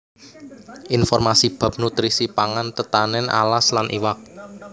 Informasi bab nutrisi pangan tetanèn alas lan iwak